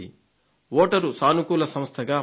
voter సానుకూల సంస్థగా మారింది